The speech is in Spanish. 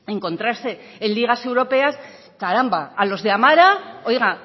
encontrarse en ligas europeas caramba a los de amara oiga